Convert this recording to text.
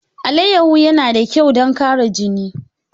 Alayyahu yana da kyau don ƙara jini.